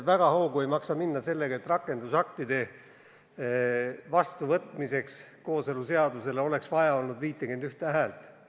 Väga hoogu ei maksa minna väitega, et kooseluseaduse rakendusaktide vastuvõtmiseks oleks vaja olnud 51 häält.